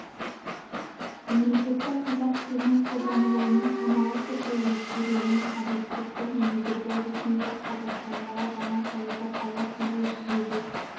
мемлекеттік қазақ тілінің қолданылуының саналы түрде өзгеруінің объективті негізі ретінде қазақстандағы жаңа саясат аясында жүзеге